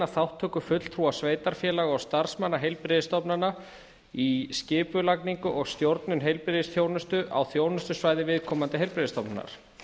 þátttöku fulltrúa sveitarfélaga og starfsmanna heilbrigðisstofnana í skipulagningu og stjórnun heilbrigðisþjónustu á þjónustusvæði viðkomandi heilbrigðisstofnunar